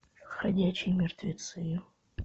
ходячие мертвецы